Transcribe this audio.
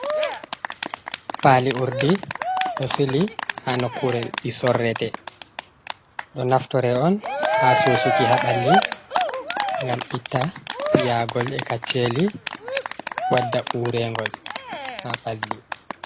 Paali urdi ɗo sili haa nokkure ɓi sorrete ɗo naftore on haa susuki haa balli, ngam itta piyaagol e kacceli, wadda urengol haa ɓalli.